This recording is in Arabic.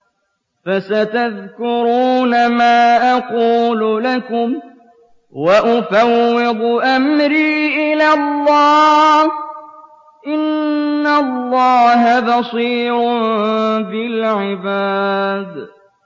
فَسَتَذْكُرُونَ مَا أَقُولُ لَكُمْ ۚ وَأُفَوِّضُ أَمْرِي إِلَى اللَّهِ ۚ إِنَّ اللَّهَ بَصِيرٌ بِالْعِبَادِ